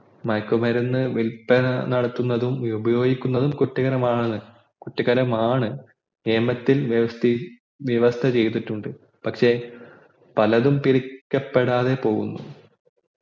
മയക്കുമരുന്ന് വില്പന നടത്തുന്നതും ഉപയോഗിക്കുന്നതും കുറ്റകരമാണ് കുറ്റകരമാണ് നിയമത്തിൽ വ്യവസ്ഥയിൽ വ്യവസ്ഥചെയ്തിട്ടുണ്ട് പക്ഷെ പിടിക്കപെടാതെപോകുന്നു